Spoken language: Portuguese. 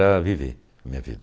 para viver a minha